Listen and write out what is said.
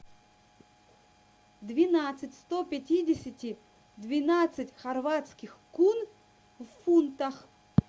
двенадцать сто пятидесяти двенадцать хорватских кун в фунтах